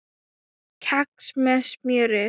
Kex með smjöri